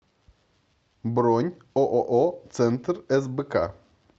бронь ооо центр сбк